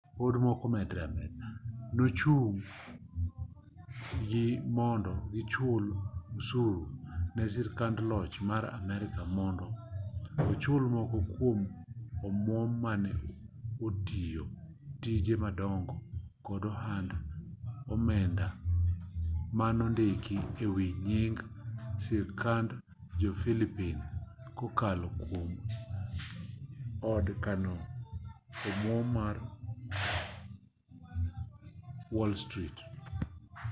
nochun gi mondo gichul osuru ne sirkand loch mar amerka mondo ochul moko kwom omwom mane otiyo tije madongo kod ohand omenda manondiki e wi nying sirkand jo-pillipine kokalo kwom od kano omwom mar wall street